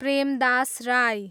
Prem Das Rai